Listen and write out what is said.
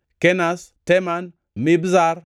Kenaz, Teman, Mibzar